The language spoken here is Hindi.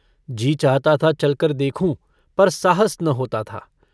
जी चाहता था चलकर देखूँ, पर साहस न होता था।